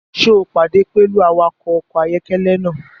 Ṣe o pade pẹlu awakọ ọkọ ayọkẹlẹ naa?